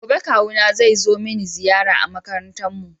Gobe Kawuna zai zo mini ziyara a makarantar mu.